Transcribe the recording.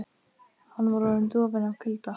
Hann var orðinn dofinn af kulda.